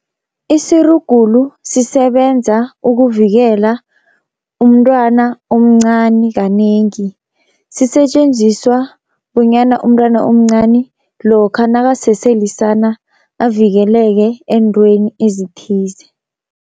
Isirugulu sisebenza ukuvikela umntwana omncani kanengi, sisetjenziswa bunyana umntwana omncani lokha nakasese lisana avikeleke eentweni ezithize.